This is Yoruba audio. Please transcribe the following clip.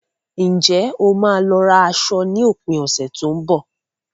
Ǹjẹ́ o máa lọ ra aṣọ ní òpin ọ̀sẹ̀ tó ń bọ̀?